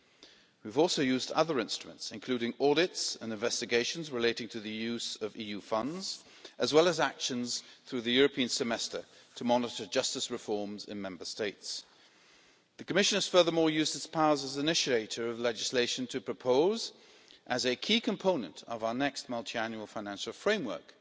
In addition, we have used other instruments, including audits and investigations relating to the use of EU funds, as well as measures through the European Semester to monitor justice reforms in Member States. The Commission has used its powers as initiator of legislation to propose, as a key component of our next Multiannual Financial Framework,